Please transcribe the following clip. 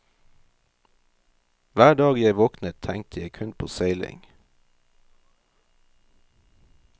Hver dag jeg våknet, tenkte jeg kun på seiling.